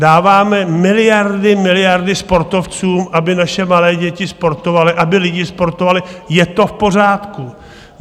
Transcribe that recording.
Dáváme miliardy, miliardy sportovcům, aby naše malé děti sportovaly, aby lidi sportovali, je to v pořádku.